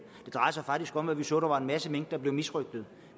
drejer sig faktisk om at vi så at der var en masse mink der blev misrøgtet